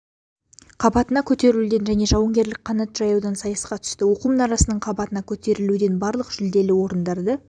қабатына көтерілуден және жауынгерлік қанат жаюдан сайысқа түсті оқу мұнарасының қабатына көтерілуден барлық жүлделі орындарды